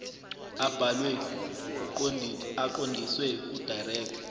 abhalwe aqondiswe kudirector